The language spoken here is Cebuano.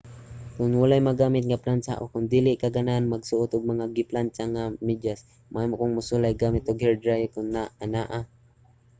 kon walay magamit nga plantsa o kon dili ka ganahan magsuot og mga giplantsa na mga medyas mahimo kang mosulay gamit og hairdryer kon anaa